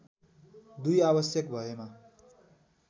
२ आवश्यक भएमा